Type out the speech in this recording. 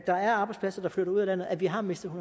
der er arbejdspladser der flytter ud af landet at vi har mistet